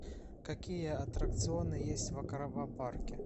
какие атракционы есть в аквапарке